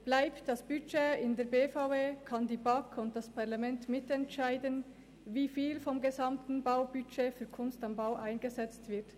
Bleibt das Budget in der BVE, können die BaK und das Parlament mitentscheiden, wie viel vom gesamten Baubudget für «Kunst am Bau» eingesetzt wird.